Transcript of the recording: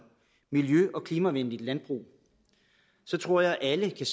miljø og klimavenligt landbrug tror jeg at alle kan